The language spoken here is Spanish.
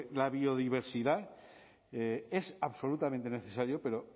la biodiversidad es absolutamente necesario pero